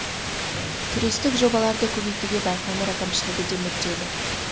туристік жобаларды көбейтуге байқоңыр әкімшілігі де мүдделі